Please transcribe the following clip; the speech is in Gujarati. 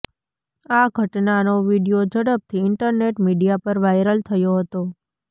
આ ઘટનાનો વીડિયો ઝડપથી ઇન્ટરનેટ મીડિયા પર વાયરલ થયો હતો